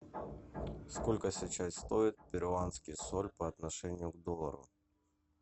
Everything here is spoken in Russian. сколько сейчас стоит перуанский соль по отношению к доллару